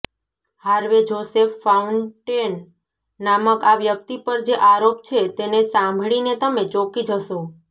Harvey Joseph Fountain નામક આ વ્યક્તિ પર જે આરોપ છે તેને સાંભળીને તમે ચોંકી જશો